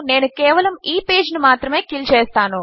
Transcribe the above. నేను కేవలము ఈ పేజ్ ను మాత్రమే కిల్ చేస్తాను